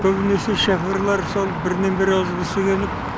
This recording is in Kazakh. көбінесе шоферлар сол бірінен бірі озғысы келіп